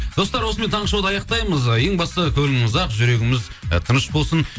достар осымен таңғы шоуды аяқтаймыз ең бастысы көңіліміз ақ жүрегіміз ы тыныш болсын